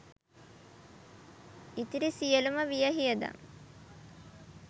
ඉතිරි සියලුම වියහියදම්